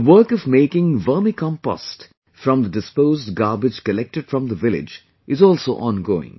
The work of making vermicompost from the disposed garbage collected from the village is also ongoing